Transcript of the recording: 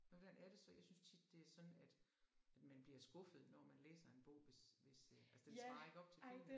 Men hvordan er det så jeg synes tit det er sådan at at man bliver skuffet når man læser en bog hvis hvis det altså den svarer ikke op til filmen